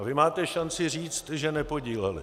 A vy máte šanci říct, že nepodíleli.